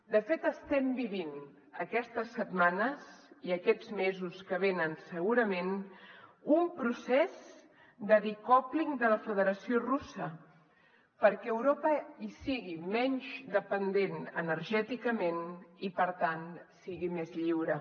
de fet estem vivint aquestes setmanes i aquests mesos que venen segurament un procés de decoupling de la federació russa perquè europa en sigui menys dependent energèticament i per tant sigui més lliure